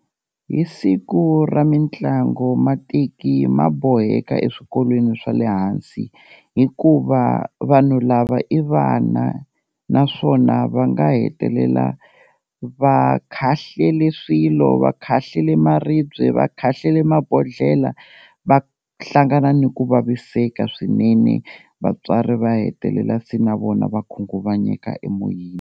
Hi siku ra mitlangu mateki ma boheka eswikolweni swa le hansi, hikuva vanhu lava i vana naswona va nga hetelela va khahlele swilo, va khahlele maribye, va khahlele mabodhlela, va hlangana ni ku vaviseka swinene vatswari va hetelela se na vona va khunguvanyeka emoyeni.